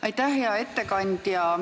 Aitäh, hea ettekandja!